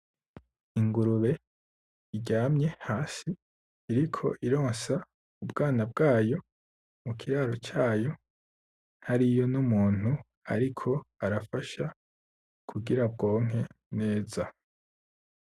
Ingurube iryamye hasi iriko ironsa ubwana bwayo mu kiraro cayo hariyo n'umuntu ariko arafasha kugira bwonke neza.